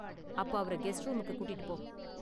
அப்போ அவர கெஸ்ட் ரூமுக்கு கூட்டிட்டு போ